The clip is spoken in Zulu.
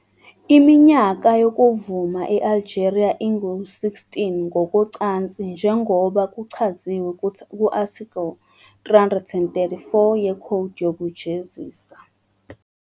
Iminyaka yokuvuma e- Algeria ingu- 16 ngokocansi, njengoba kuchaziwe ku-Article 334 yekhodi yokujezisa.